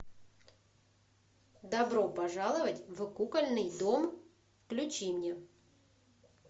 добро пожаловать в кукольный дом включи мне